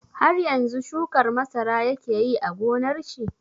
Har yanzu shukar masara yake yi a gonar shi?